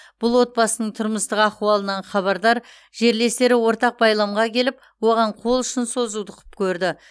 бұл отбасының тұрмыстық ахуалынан хабардар жерлестері ортақ байламға келіп оған қол ұшын созуды құп көрді